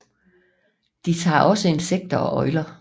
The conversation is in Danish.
De tager også insekter og øgler